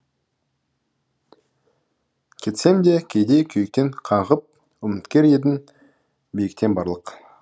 кетсем де кейде күйіктен қаңғып үміткер едің биіктен барлық